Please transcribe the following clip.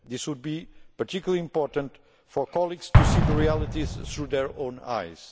It would be particularly important for colleagues to see the realities through their own eyes.